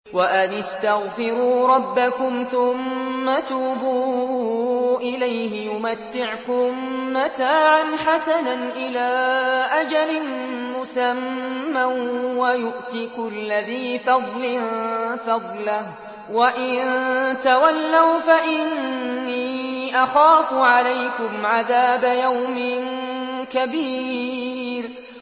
وَأَنِ اسْتَغْفِرُوا رَبَّكُمْ ثُمَّ تُوبُوا إِلَيْهِ يُمَتِّعْكُم مَّتَاعًا حَسَنًا إِلَىٰ أَجَلٍ مُّسَمًّى وَيُؤْتِ كُلَّ ذِي فَضْلٍ فَضْلَهُ ۖ وَإِن تَوَلَّوْا فَإِنِّي أَخَافُ عَلَيْكُمْ عَذَابَ يَوْمٍ كَبِيرٍ